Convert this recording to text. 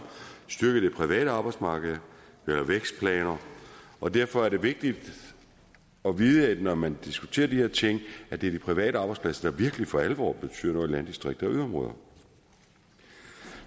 styrket det private arbejdsmarked og lavet vækstplaner og derfor er det vigtigt at vide når man diskuterer de her ting at det er de private arbejdspladser der virkelig for alvor betyder noget i landdistrikter og yderområder